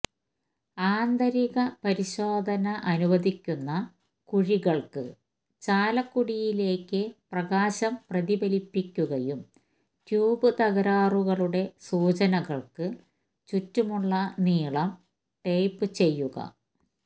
ആന്തരിക പരിശോധന അനുവദിക്കുന്ന കുഴിക്കള്ക്ക് ചാലക്കുടിലേക്ക് പ്രകാശം പ്രതിഫലിപ്പിക്കുകയും ട്യൂബ് തകരാറുകളുടെ സൂചനകള്ക്ക് ചുറ്റുമുള്ള നീളം ടേപ്പ് ചെയ്യുക